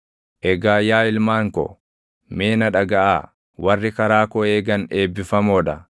“Eegaa yaa ilmaan ko, mee na dhagaʼaa; warri karaa koo eegan eebbifamoo dha.